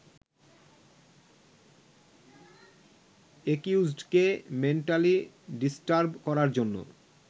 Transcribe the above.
একিউজডকে mentally disturb করার জন্য